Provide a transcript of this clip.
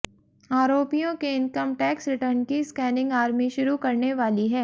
आरोपियों के income tax return की स्कैनिंग आर्मी शुरू करने वाली है